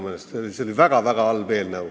See oli väga halb eelnõu.